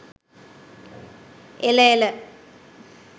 එළ එළ